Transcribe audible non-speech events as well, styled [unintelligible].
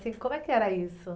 [unintelligible] Como é que era isso?